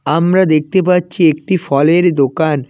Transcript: আমরা দেখতে পাচ্ছি একটি ফলের দোকান।